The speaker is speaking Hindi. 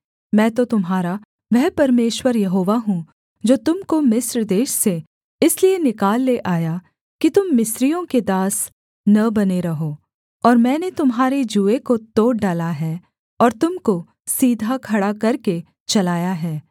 मैं तो तुम्हारा वह परमेश्वर यहोवा हूँ जो तुम को मिस्र देश से इसलिए निकाल ले आया कि तुम मिस्रियों के दास न बने रहो और मैंने तुम्हारे जूए को तोड़ डाला है और तुम को सीधा खड़ा करके चलाया है